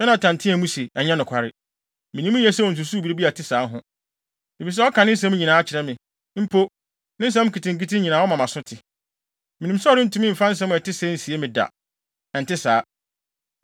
Yonatan teɛɛ mu se, “Ɛnyɛ nokware. Minim yiye sɛ onsusuw biribi a ɛte saa ho, efisɛ ɔka ne nsɛm nyinaa kyerɛ me; mpo, ne nsɛm nketenkete nyinaa ɔma mʼaso te. Minim sɛ ɔrentumi mfa asɛm a ɛte sɛɛ nsie me da. Ɛnte saa!”